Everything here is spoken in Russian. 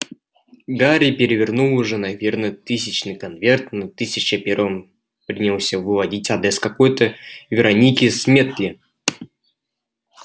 гарри перевернул уже наверное тысячный конверт на тысяча первом принялся выводить адрес какой-то вероники сметли